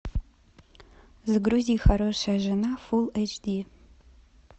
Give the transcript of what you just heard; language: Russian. загрузи хорошая жена фулл эйч ди